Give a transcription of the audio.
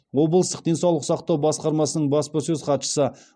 облыстық денсаулық сақтау басқармасының баспасөз хатшысы